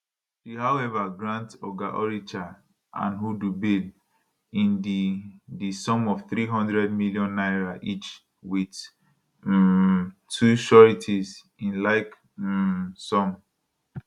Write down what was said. she however grant oga oricha and hudu bail in di di sum of 300 million naira each wit um two sureties in like um sum